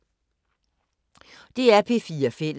DR P4 Fælles